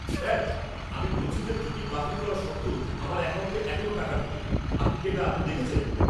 Sir! আমি বলছি যে টিকিট বাতিল করা সত্ত্বেও আমার অ্যাকাউন্টে এখনও টাকাটা ঢোকেনি। আপনি কি এটা আদৌ দেখছেন?